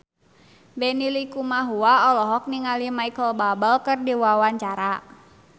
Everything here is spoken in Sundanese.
Benny Likumahua olohok ningali Micheal Bubble keur diwawancara